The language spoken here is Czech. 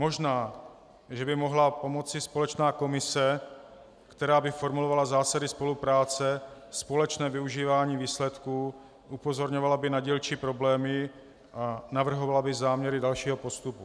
Možná že by mohla pomoci společná komise, která by formulovala zásady spolupráce, společné využívání výsledků, upozorňovala by na dílčí problémy a navrhovala by záměry dalšího postupu.